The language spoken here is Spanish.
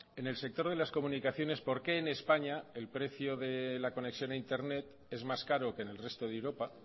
en el sector de las comunicaciones por qué en españa el precio de la conexión a internet es más caro que en el resto de europa